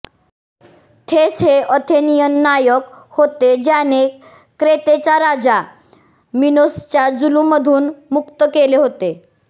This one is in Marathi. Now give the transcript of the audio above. थेस्स हे अथेनियन नायक होते ज्याने क्रेतेच्या राजा मिनोसच्या जुलूमधून मुक्त केले होते